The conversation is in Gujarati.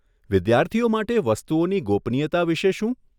વિદ્યાર્થીઓ માટે વસ્તુઓની ગોપનીયતા વિશે શું?